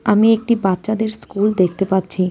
আমি একটি বাচ্চাদের স্কুল দেখতে পাচ্ছি।